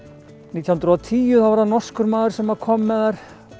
nítján hundruð og tíu þá var það norskur maður sem kom með þær